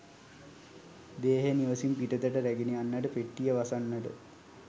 දේහය නිවසින් පිටතට රැගෙන යන්නට පෙට්ටිය වසන්නට